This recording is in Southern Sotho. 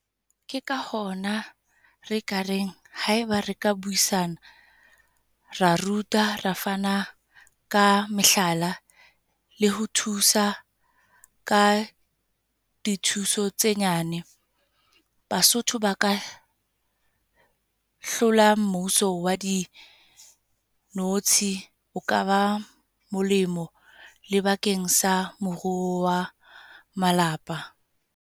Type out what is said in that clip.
Ke ka hona re ka reng, haeba reka buisana. Ra ruta, re fana ka mehlala le ho thusa ka dithuso tse nyane. Basotho ba ka hlola mmuso wa dinotshi. Ho ka ba molemo, le bakeng sa moruo wa malapa.